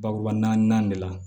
Bakuruba naani de la